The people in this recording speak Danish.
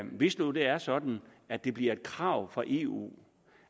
hvis nu det er sådan at det bliver et krav fra eu